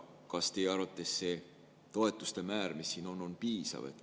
Kas teie arvates see toetuste määr, mis siin on, on piisav?